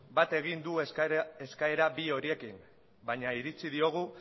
bat egin du eskaera bi horiekin baina iritzi diogu